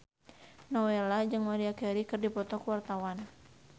Nowela jeung Maria Carey keur dipoto ku wartawan